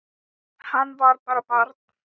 Hann var bara barn.